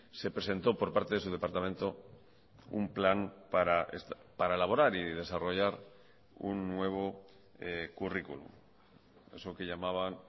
se presentó por parte de su departamento un plan para elaborar y desarrollar un nuevo currículum eso que llamaban